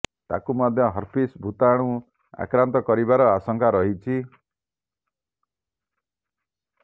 ତାକୁ ମଧ୍ୟ ହର୍ପିସ୍ ଭୂତାଣୁ ଆକ୍ରାନ୍ତ କରିବାର ଆଶଙ୍କା ରହିଛି